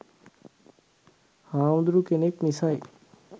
හාමුදුරු කෙනෙක් නිසයි